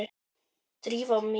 Drífa mín?